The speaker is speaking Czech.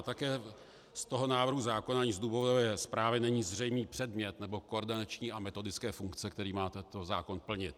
A také z toho návrhu zákona ani z důvodové zprávy není zřejmý předmět nebo koordinační a metodické funkce, které má tento zákon plnit.